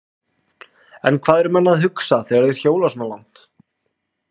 En hvað eru menn að hugsa þegar þeir hjóla svona langt?